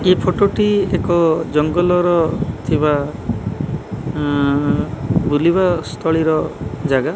ଏହି ଫଟୋ ଟି ଏକ ଜଙ୍ଗଲରଥିବା ବୁଲିବା ସ୍ଥଳୀର ଜାଗା।